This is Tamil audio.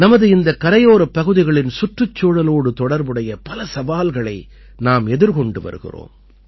நமது இந்த கரையோரப் பகுதிகளின் சுற்றுச்சூழலோடு தொடர்புடைய பல சவால்களை நாம் எதிர்கொண்டு வருகிறோம்